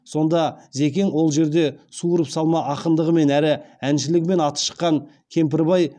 сонда зекең ол жерде суырып салма ақындығымен әрі әншілігімен аты шыққан кемпірбай